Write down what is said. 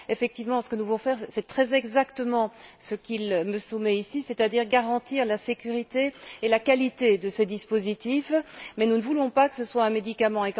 Effectivement, ce que nous voulons faire, c'est très exactement ce qu'il me soumet ici, c'est à dire garantir la sécurité et la qualité de ces dispositifs, mais nous ne voulons pas que ce soit un médicament.